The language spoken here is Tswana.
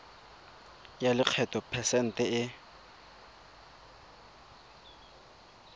ya lekgetho phesente e